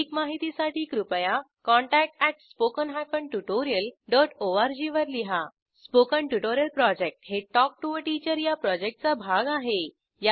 अधिक माहितीसाठी कृपया contact at spoken hyphen tutorial dot org वर लिहा स्पोकन ट्युटोरियल प्रॉजेक्ट हे टॉक टू टीचर या प्रॉजेक्टचा भाग आहे